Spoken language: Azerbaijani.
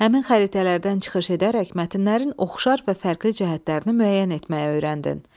Həmin xəritələrdən çıxış edərək mətnlərin oxşar və fərqli cəhətlərini müəyyən etməyi öyrəndin.